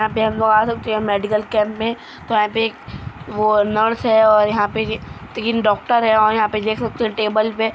medical camp में nurse हैं और यहाँ पे तीन डॉक्टर है और यहां पर देख सकते हो टेबल पे --